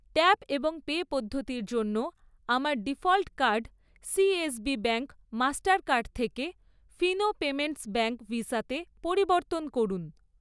Tap এবং pay পদ্ধতির জন্য আমার default card CSB bank Mastercard থেকে ফিনো পেমেন্টস ব্যাঙ্ক ভিসাতে পরিবর্তন করুন।